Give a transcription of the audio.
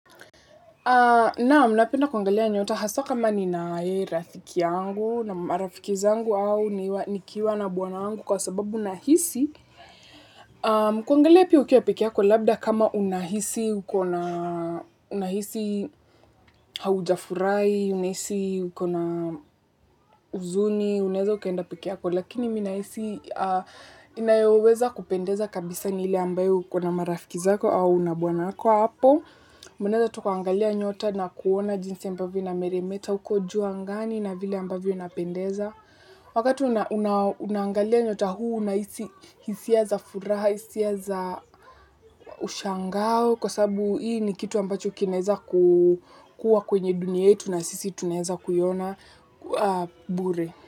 Naam, napenda kuangalia nyota hasa kama ninaye rafiki yangu na marafiki zangu au nikiwa na bwana wangu kwa sababu nahisi, kuangalia pia ukiwa pekee yako labda kama unahisi uko na, unahisi haujafurahi, unahisi uko na huzuni, unaeza ukaenda pekee yako lakini mi nahisi inayoweza kupendeza kabisa ni ile ambayo uko na marafiki zako au uko na bwanako apo unaeza tu ukaangalia nyota na kuona jinsi ambavyo inameremeta, huko juu angani na vile ambavyo inapendeza. Wakati unaangalia nyota huu unahisi hisia za furaha hisia za ushangao kwa sababu hii ni kitu ambacho kinaeza kuwa kwenye dunia yetu na sisi tunaeza kuiona bure.